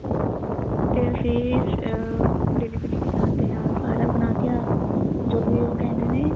ਤੇ ਫੇਰ ਅਹ delivery ਵੀ ਕਰਦੇ ਆ ਸਾਰਾ ਬਣਾ ਕੇ ਆ ਜੋ ਵੀ ਉਹ ਕਹਿੰਦੇ ਨੇ